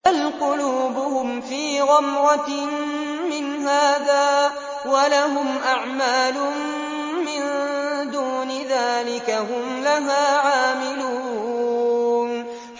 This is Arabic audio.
بَلْ قُلُوبُهُمْ فِي غَمْرَةٍ مِّنْ هَٰذَا وَلَهُمْ أَعْمَالٌ مِّن دُونِ ذَٰلِكَ هُمْ لَهَا عَامِلُونَ